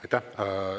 Aitäh!